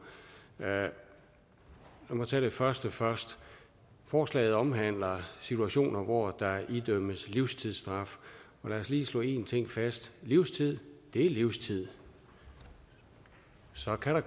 lad mig tage det første først forslaget omhandler situationer hvor der idømmes livstidsstraf lad os lige slå en ting fast livstid er livstid så kan der